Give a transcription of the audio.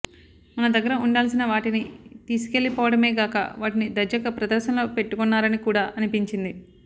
మన దగ్గర ఉండాల్సిన వాటిని తీసుకెళ్లిపోవడమేకాక వాటిని దర్జాగా ప్రదర్శనలో పెట్టుకున్నారని కూడా అనిపించింది